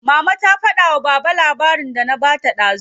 Mama ta fada wa baba labarin da na bata dazu.